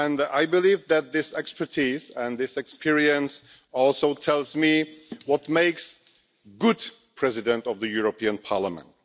I believe that this expertise and this experience also tell me what makes a good President of the European Parliament.